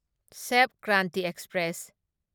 Sapt Kranti express